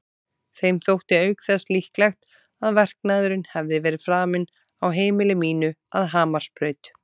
Þeim þótti auk þess líklegt að verknaðurinn hefði verið framinn á heimili mínu að Hamarsbraut.